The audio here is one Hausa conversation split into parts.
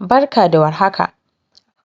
Barka da war haka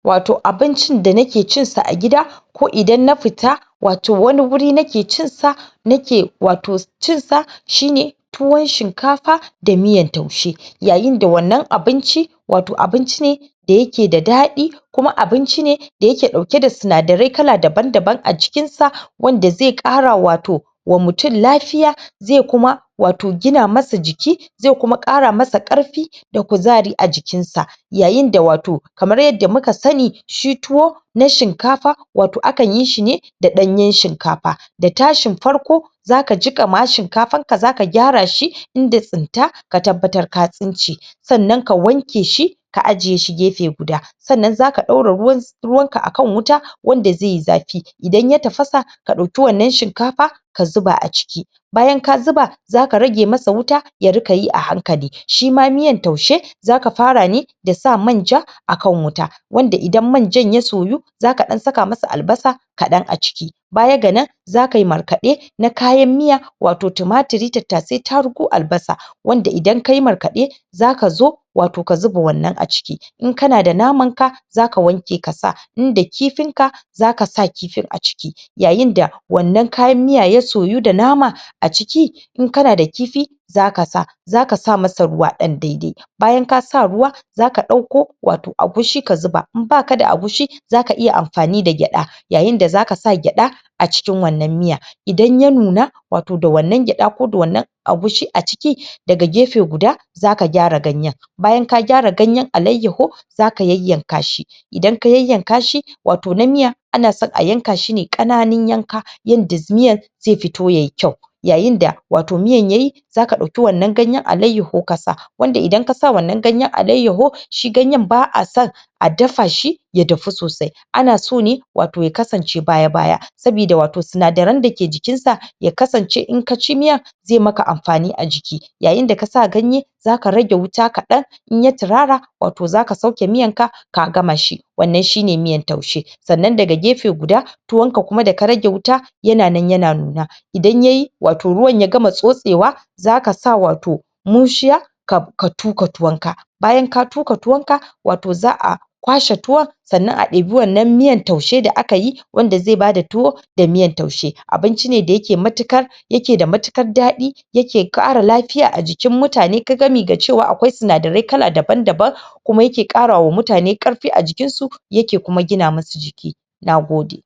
wato abincin da nake cin sa a gida ko idan na fita wato wani wuri nake cin sa na ke wato cin sa shine tuwon shinkafa da miyan taushe yayin da wannan abinci wato abinci da yake da daɗi kuma abinci ne da yake dauke da sinadari kala daban daban a cikin sa wanda zai ƙara wato wa mutum lafiya zai kuma wato gina masa jiki zai kuma ƙara masa ƙarfi da kuzari a jikin sa yayin da wato kamar yanda muka sani shi tuwo na shinkafa wato akan yi shi ne da ɗanyen shinkafa da tashin farko zaka jika ma shinkafan ka za ka gyara shi Inda tsinta ka tabbatar ka tsince sannan ka wanke shi ka ajiye shi gefe guda sannan zaka daura ruwan ka akan wuta wanda zaiyi zafi idan ya tafasa ka dauki wannan shinkafa ka zuba a ciki bayan ka zuba zaka rage masa wuta ya rinqa yi a hankali shima miyan taushe za ka fara ne da sa manja akan wuta wanda idan manjan ya soyu zaka dan saka masa albasa kaɗan a ciki Baya ga nan za kayi markaɗe na kayan miya wato tumaturi Tattasai tarugu albasa wanda idan kayi markaɗe za ka zo wato ka zuba wannan a ciki in kana da naman ka za ka wanke ka sa in da kifin ka zaka sa kifin a ciki yayin da wannan kayan miyan ya soyu da nama a ciki In kana da kifi zaka sa zaka sa masa ruwa ɗan daidai bayan ka sa ruwa za ka dauko wato agushi ka zuba in baka da agushi zaka iya amfani da gyada yayin da zaka sa gyada a cikin wannan miya idan ya nuna wato da wannan gyada ko da wannan agushi a ciki daga gefe guda zaka gyara ganyen bayan ka gyara ganyen alaiyyahu zaka yanyanka shi idan ka yayyan ka shi Wato na miya ana so a yanka shi ne ƙanananun yanka yanda miyan zai fito yayi kyau yayin da wato miyan yayi zaka dauki wannan ganyen alaiyyahu ka sa wato idan kasa wannan ganyen aliayyahu shi ganyen ba'ason a dafa shi ya dahu sosai ana so ne wato ya kasance baya baya sabida Wato sinadaran da ke jikin sa ya kasance in ka ci miyan zai maka amfani a jiki yayin da ka sa ganye zaka rage wuta kaɗan in ya turara zaka sauke miyan ka gama shi wannan shine miyan taushe sannan daga gefe guda tuwon ka kuma da ka rage wuta yana nan yana nuna idan yayi wato miyan ya gama tsotsewa zaka sa wato muciya ka tuka Tuwon ka bayan ka tuka tuwon ka wato za'a kwashe tuwon sannan a ɗiɓi wannan miyan taushe da aka yi wanda zai ba da tuwo da miyan taushe abinci ne da yake da matukar daɗi yake ƙara lfy a jikin mutane ka gami da cewa akwai sinadarai daban daban kuma yake ƙarawa wa mutane ƙarfi a jikin su yake kuma Gina masu jiki nagode